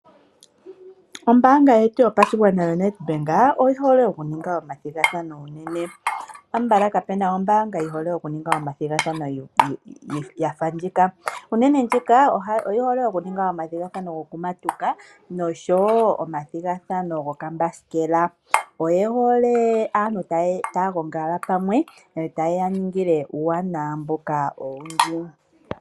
Ombanga yetu yopashingwana yaNEDBANK oyi hole okuninga omathigathano unene, konyala kapuna ombanga yi hole okuninga omathigathano yafa ndjika. Ombanga ndjika oyi hole okuninga omathigathano gokumatuka nosho woo omathigathano goombasikela, oye hole aantu tagongala pamwe etaye ya ningile uuwanawa owundji.